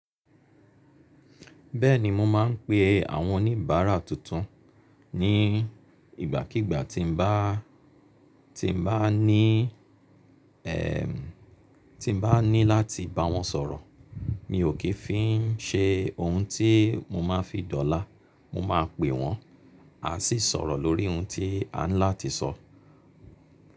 Bẹ́ẹ̀ni mo má ń pe àwọn oníbàárà tuntun ní ìgbákígbá tí n bá, ti n bá ní ẹ, ti n bá ni láti bá wọn sọ̀rọ̀. Mi ò kì fi ń ṣe ohun tí mo má fi dọ́là. Mo máa pè wọ́n, a sì sọ̀rọ̀ lórí ohun tí a ń láti sọ.